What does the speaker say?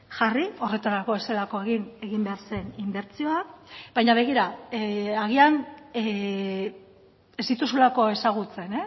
jarri horretarako ez zelako egin egin behar zen inbertsioa baina begira agian ez dituzulako ezagutzen